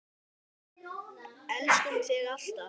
Elskum þig alltaf.